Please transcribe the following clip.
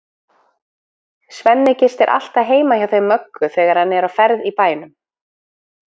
Svenni gistir alltaf heima hjá þeim Möggu þegar hann er á ferð í bænum.